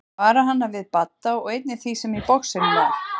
Vara hana við Badda og einnig því sem í boxinu var.